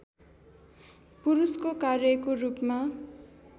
पुरुषको कार्यको रूपमा